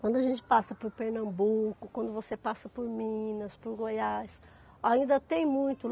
Quando a gente passa por Pernambuco, quando você passa por Minas, por Goiás, ainda tem muito.